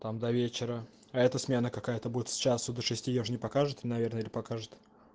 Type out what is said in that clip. там до вечера а это смена какая-то будет сейчас туда шестьсот я же не покажу ты наверное покажут